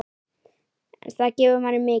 Það gefur manni mikið.